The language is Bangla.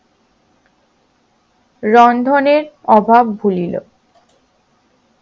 রন্ধনের অভাব ভুলিলো